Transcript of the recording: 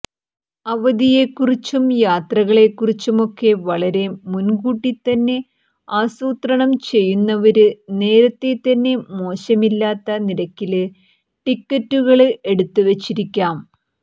അവധിയെക്കുറിച്ചും യാത്രകളെക്കുറിച്ചുമൊക്കെ വളരെ മുന്കൂട്ടിത്തന്നെ ആസൂത്രണം ചെയ്യുന്നവര് നേരത്തേതന്നെ മോശമില്ലാത്ത നിരക്കില് ടിക്കറ്റുകള് എടുത്തുവെച്ചിരിക്കാം